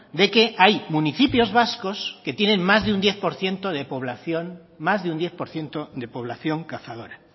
de que hay municipios vascos que tienen más de un diez por ciento de población cazadora